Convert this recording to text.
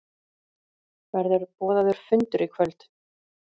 Verður boðaður fundur í kvöld?